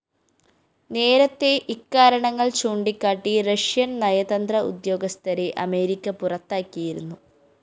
നേരത്തെ ഇക്കാരണങ്ങള്‍ ചൂണ്ടിക്കാട്ടി റഷ്യന്‍ നയതന്ത്ര ഉദ്യോഗസ്ഥരെ അമേരിക്ക പുറത്താക്കിയിരുന്നു